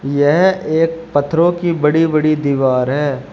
यह एक पत्थरों की बड़ी बड़ी दीवार है।